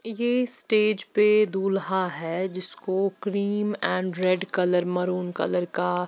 ये स्टेज पे दूल्हा है जिसको cream and red colour maroon colour का--